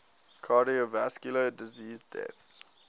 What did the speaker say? cardiovascular disease deaths